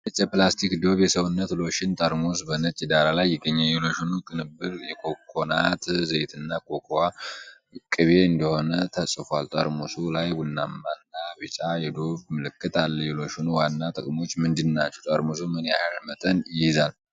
ነጭ የፕላስቲክ ዶቭ የሰውነት ሎሽን ጠርሙስ በነጭ ዳራ ላይ ይገኛል። የሎሽኑ ቅንብር የኮኮናት ዘይትና ኮኮዋ ቅቤ እንደሆነ ተጽፏል። ጠርሙሱ ላይ ቡናማና ቢጫ የዶቭ ምልክት አለ። የሎሽኑ ዋና ጥቅሞች ምንድናቸው? ጠርሙሱ ምን ያህል መጠን ይይዛል?